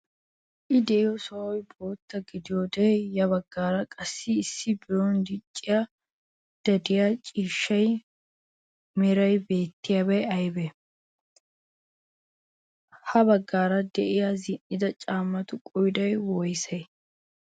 I de'iyo sohoy bootta gidiyode ya baggaara qassi issi biron diccayda de'iya ciishsha meriya beettiyara aybee? Ha baggaara de'iyaa zin"ida caammatu qooday woysee?